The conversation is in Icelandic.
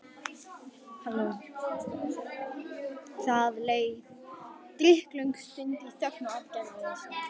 Það leið drykklöng stund í þögn og aðgerðaleysi.